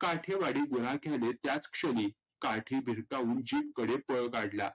काठेवाडी गुराख्याने त्याच क्षनी काठी भिरकावून Jeep कडे पळ काढला.